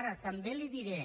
ara també li ho diré